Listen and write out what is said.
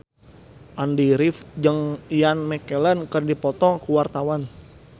Andy rif jeung Ian McKellen keur dipoto ku wartawan